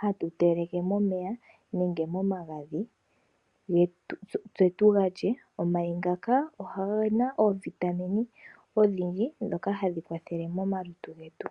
hatu teleke momeya nenge mo magadhi tse tu ga lye. Omayi ngaka ogena oovitamine odhindji, ndhoka hadhi kwathele mo malutu getu.